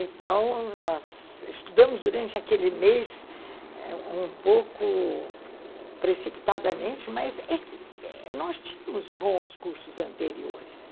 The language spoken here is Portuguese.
Então, nós estudamos durante aquele mês um pouco precipitadamente, mas é que nós tínhamos bons cursos anteriores.